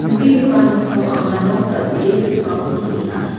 nikenggipa noksao anga nok dal·bee rikgipako nikenga.